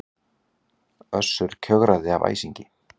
Össur kjökraði af æsingi.